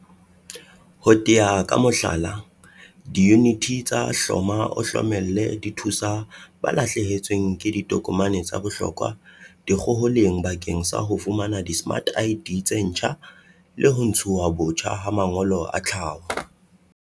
Ho tea ka mohlala, diyuniti tsa hloma-o-hlomolle di thusa ba lahlehetsweng ke ditokomane tsa bohlokwa dikgoholeng bakeng sa ho fumana dismart ID tse ntjha le ho ntshuwa botjha ha mangolo a tlhaho.